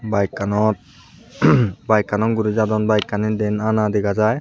bike kanot bike kanot guri jadon bike kani den ana dega jai.